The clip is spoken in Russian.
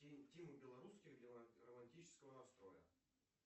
тима белорусских для романтического настроя